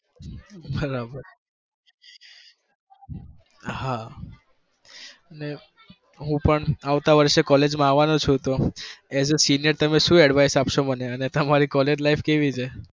બરાબર હા ને હું પણ આવતા વર્ષે college માં આવવા નો છુ, તો as a senior તમે શું advise આપશો મને અને તમારી college life કેવી છે?